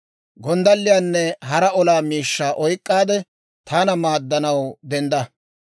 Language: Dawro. Gonddalliyaanne hara olaa miishshaa oyk'k'aade, taana maaddanaw dendda.